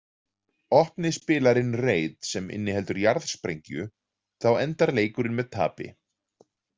Opni spilarinn reit sem inniheldur jarðsprengju, þá endar leikurinn með tapi.